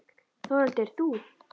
Þórhildur: Þú?